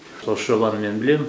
осы жобаны мен білемін